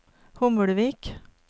Hommelvik